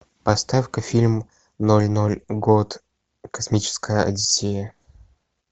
поставь ка фильм ноль ноль год космическая одиссея